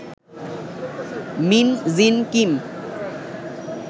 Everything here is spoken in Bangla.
mean Jin Kim